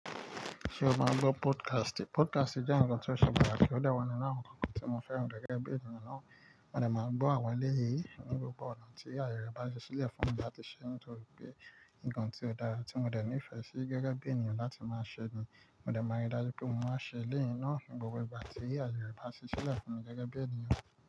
Ṣé o máa gbọ́ podcast? Podcast jẹ́ ohun tí o ṣe pàtàkì. Ó dẹ̀ wà nínú àwọn ohun tí mo fẹ́ràn gẹ́gẹ́ bí ènìyàn náà. Mo máa ń gbọ́ àwọn eléyìí ní gbogbo ọ̀nà tí àyè bá ṣẹ́ sílẹ̀ fún mi láti ṣe, nítorí pé nkan tí ó dára tí mo ní ìfẹ́ sí gẹ́gẹ́ bí ènìyàn láti máa ṣe ni. Mo máa rí dájú pé mo máa ṣe eléyìí náà ní gbogbo ìgbà tí àyè bá ṣí sílẹ̀ fún mi gẹ́gẹ́ bí ènìyàn.